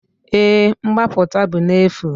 Èé, mgbapụta bụ n'efu.